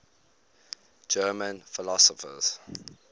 german philosophers